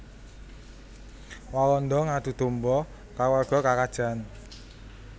Walanda ngadu dhomba kaluwarga karajaan